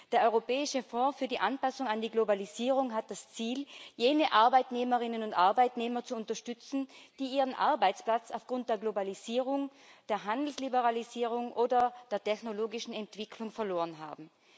Der Europäische Fonds für die Anpassung an die Globalisierung hat das Ziel, jene Arbeitnehmerinnen und Arbeitnehmer zu unterstützen, die ihren Arbeitsplatz aufgrund der Globalisierung, der Handelsliberalisierung oder der technologischen Entwicklung verloren haben.